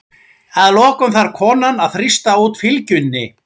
Að lokum þarf konan að þrýsta út fylgjunni.